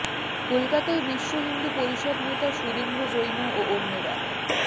কোলকাতায় বিশ্ব হিন্দু পরিষদ নেতা সুরেন্দ্র জৈন ও অন্যরা